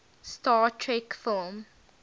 star trek film